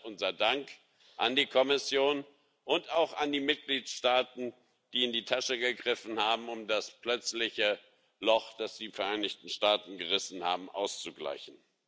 Und deshalb unser Dank an die Kommission und auch an die Mitgliedstaaten, die in die Tasche gegriffen haben, um das plötzliche Loch, das die Vereinigten Staaten gerissen haben, auszugleichen.